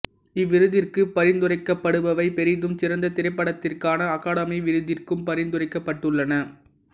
இவ்விருதிற்கு பரிந்துரைக்கடுபவை பெரிதும் சிறந்த திரைப்படத்திற்கான அகாதமி விருதிற்கும் பரிந்துரைக்கப்பட்டுள்ளன